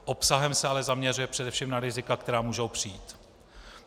Obsahem se ale zaměřuje především na rizika, která můžou přijít.